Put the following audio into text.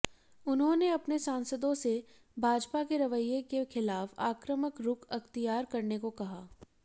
उन्होंने अपने सांसदों से भाजपा के रवैये के खिलाफ आक्रामक रुख अख्तियार करने को कहा